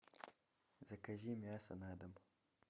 закажи мясо на дом